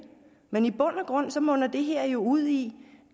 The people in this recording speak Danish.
men i bund og grund munder det her jo ud i